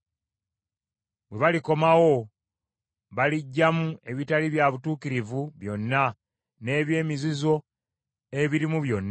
“Bwe balikomawo, baliggyamu ebitali bya butuukirivu byonna n’eby’emizizo ebirimu byonna.